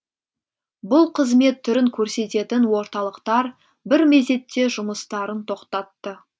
бұл қызмет түрін көрсететін орталықтар бір мезетте жұмыстарын тоқтатты